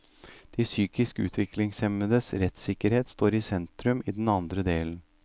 De psykisk utviklingshemmedes rettssikkerhet står i sentrum i den andre delen.